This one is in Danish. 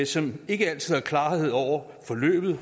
som ikke altid har klarhed over forløbet